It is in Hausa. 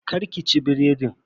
Kar ki ci biredin.